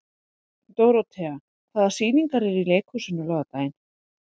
Dórothea, hvaða sýningar eru í leikhúsinu á laugardaginn?